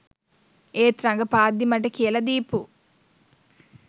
ඒත් රඟපාද්දි මට කියලා දීපු